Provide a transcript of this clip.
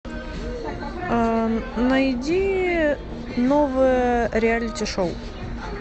найди новые реалити шоу